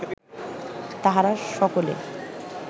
তাহারা সকলে